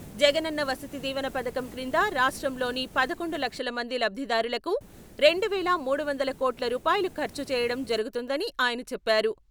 జగనన్న వసతి దీవెన పధకం క్రింద రాష్ట్రంలోని పదకొండు లక్షల మంది లబ్దిదారులకు రెండు వేల మూడు వందల కోట్ల రూపాయలు ఖర్చు చేయడం జరుగుతుందని ఆయన చెప్పారు.